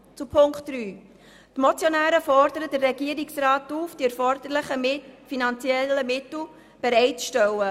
Zu Punkt 3: Die Motionäre fordern den Regierungsrat auf, die erforderlichen finanziellen Mittel bereit zu stellen.